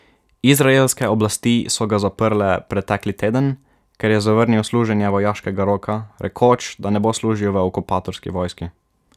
Izraelske oblasti so ga zaprle pretekli teden, ker je zavrnil služenje vojaškega roka, rekoč, da ne bo služil v okupatorski vojski.